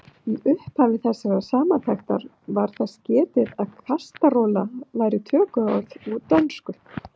Í upphafi þessarar samantektar var þess getið að kastarola væri tökuorð úr dönsku.